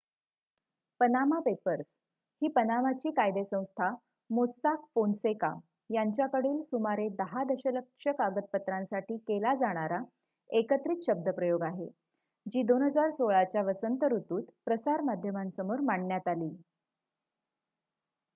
"""Panama Papers" ही पनामाची कायदे संस्था मोस्साक फोनसेका यांच्याकडील सुमारे दहा दशलक्ष कागदपत्रांसाठी केला जाणारा एकत्रित शब्दप्रयोग आहे जी 2016 च्या वसंत ऋतुत प्रसार माध्यमांसमोर मांडण्यात आली.